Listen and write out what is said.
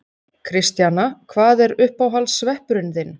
Kristjana: Hvað er uppáhalds sveppurinn þinn?